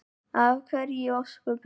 Af hverju í ósköpunum?